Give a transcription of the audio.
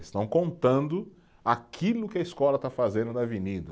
Estão contando aquilo que a escola está fazendo na avenida.